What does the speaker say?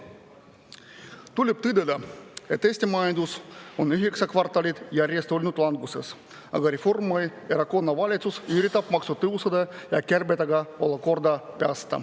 Tuleb tõdeda, et Eesti majandus on üheksa kvartalit järjest olnud languses, aga Reformierakonna valitsus üritab olukorda päästa maksutõusude ja kärbetega.